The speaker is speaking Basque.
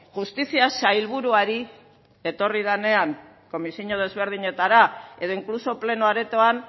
justizia sailburuari etorri denean komisio desberdinetara edo inkluso pleno aretoan